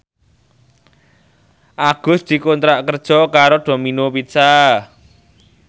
Agus dikontrak kerja karo Domino Pizza